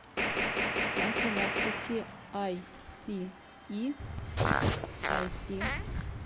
афина включи ай си и айси